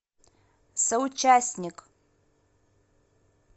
соучастник